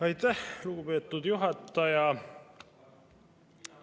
Aitäh, lugupeetud juhataja!